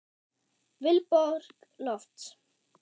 Vilborg Lofts.